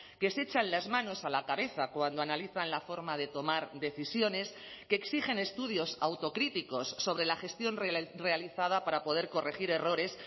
que se echan las manos a la cabeza cuando analizan la forma de tomar decisiones que exigen estudios autocríticos sobre la gestión realizada para poder corregir errores